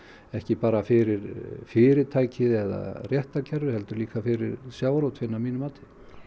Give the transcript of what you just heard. ekki bara fyrir fyrirtækið eða réttarkerfið heldur líka fyrir sjávarútveginn að mínu mati